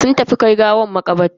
Sun tafi kai gawar makabarta.